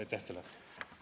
Aitäh teile!